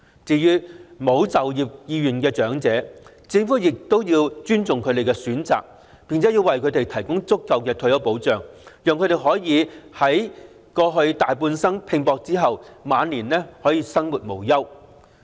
至於沒有就業意願的長者，政府亦要尊重其選擇，並為他們提供足夠的退休保障，讓他們在大半生拼搏後，晚年可以生活無憂。